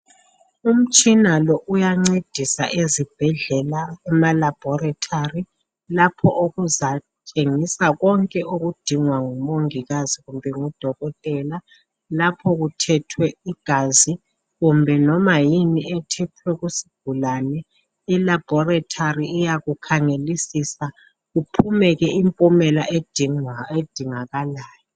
umtshina lo uyancedisa ezibhedlela kuma laboratory lapho okuzatshengisa konke okudingwa ngumongikazi kumbe ngudokotela lapho kuthethwe igazi kumbe loba yini ethethwe kusigulane e aboratory iyakukhangelisisa kuphume ke impumela edingakalayo